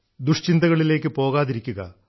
ദുഷ്ചിന്തകളിലേയ്ക്കും പോകാതിരിക്കുക